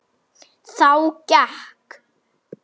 En það á alltaf erindi.